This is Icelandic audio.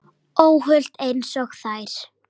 Óhult einsog þær.